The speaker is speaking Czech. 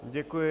Děkuji.